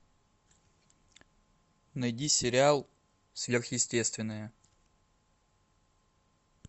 найди сериал сверхъестественное